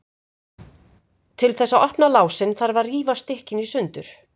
Til þess að opna lásinn þarf að rífa stykkin í sundur.